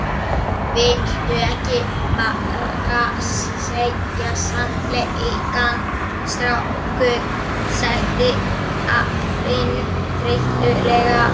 Viltu ekki bara segja sannleikann, strákur? sagði afinn þreytulega.